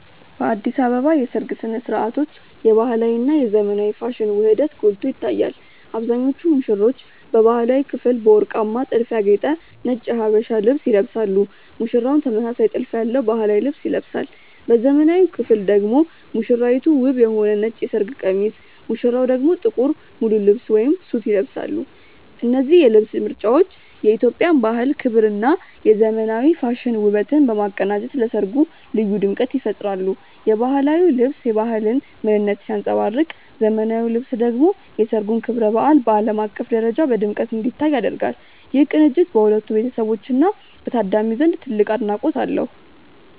በአዲስ አበባ የሰርግ ሥነ ሥርዓቶች የባህላዊ እና የዘመናዊ ፋሽን ውህደት ጎልቶ ይታያል። አብዛኞቹ ሙሽሮች በባህላዊው ክፍል በወርቃማ ጥልፍ ያጌጠ ነጭ የሀበሻ ልብስ ይለብሳሉ ሙሽራውም ተመሳሳይ ጥልፍ ያለው ባህላዊ ልብስ ይለብሳል። በዘመናዊው ክፍል ደግሞ ሙሽራይቱ ውብ የሆነ ነጭ የሰርግ ቀሚስ ሙሽራው ደግሞ ጥቁር ሙሉ ልብስ (ሱት) ይለብሳሉ። እነዚህ የልብስ ምርጫዎች የኢትዮጵያን ባህል ክብርና የዘመናዊ ፋሽን ውበትን በማቀናጀት ለሠርጉ ልዩ ድምቀት ይፈጥራሉ። የባህላዊው ልብስ የባህልን ምንነት ሲያንጸባርቅ ዘመናዊው ልብስ ደግሞ የሠርጉን ክብረ በዓል በዓለም አቀፍ ደረጃ በድምቀት እንዲታይ ያደርጋል። ይህ ቅንጅት በሁለቱ ቤተሰቦችና በታዳሚው ዘንድ ትልቅ አድናቆት አለው።